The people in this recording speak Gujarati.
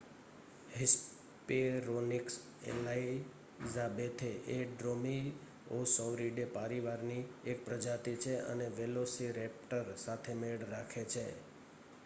હિસ્પેરોનિકસ એલાઇઝાબેથે એ ડ્રૉમિઓસૌરીડે પરિવારની એક પ્રજાતિ છે અને વેલોસિરૅપ્ટર સાથે મેળ રાખે છે